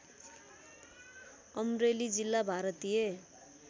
अमरेली जिल्ला भारतीय